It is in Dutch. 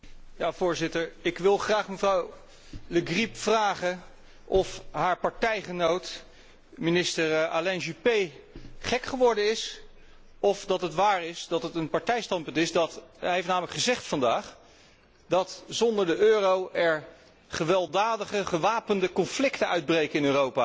Voorzitter, ik wil graag mevrouw Le Grip vragen of haar partijgenoot, minister Alain Juppé, gek geworden is, of dat het waar is dat het om een partijstandpunt gaat. Hij heeft namelijk vandaag gezegd dat er zonder de euro gewelddadige, gewapende conflicten zullen uitbreken in Europa.